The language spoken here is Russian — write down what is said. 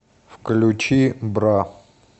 включи бра